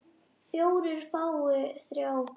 fjórir fái þrjá hver